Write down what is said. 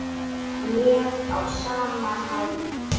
Ég á sama máli.